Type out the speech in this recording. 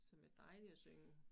Som er dejlige at synge